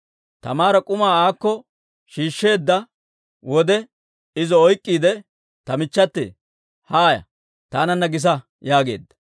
Taamaara k'umaa aakko shiishsheedda wode, izo oyk'k'iide, «Ta michchate, haaya! Taananna gisa» yaageedda.